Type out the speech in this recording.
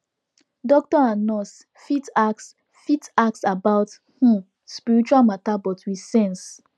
doctor and nurse fit ask fit ask about um spiritual matter but with sense